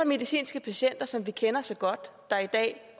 medicinske patienter som vi kender så godt der er i dag